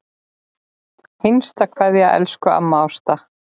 HINSTA KVEÐJA Elsku amma Ásta.